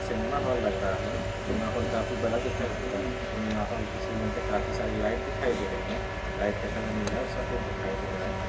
Cinema hall लग रहा है सिनेमा हॉल काफी बड़ा दिखाई दे रहा है सिनेमा हॉल की सीलिंग पर काफी सारी लाइट दिखाई दे रही है लाइट का कलर नीला और सफ़ेद दिखाई दे रहा है।